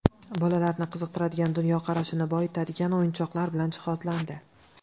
Bolalarni qiziqtiradigan, dunyoqarashini boyitadigan o‘yinchoqlar bilan jihozlandi.